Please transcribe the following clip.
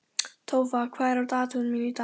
Tófa, hvað er á dagatalinu mínu í dag?